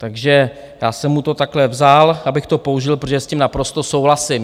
Takže já jsem mu to takhle vzal, abych to použil, protože s tím naprosto souhlasím.